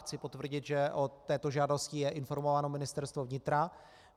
Chci potvrdit, že o této žádosti je informováno Ministerstvo vnitra.